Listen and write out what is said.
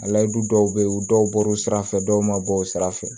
A layidu dɔw be ye u dɔw bɔr'u sira fɛ dɔw ma bɔ o sira fɛ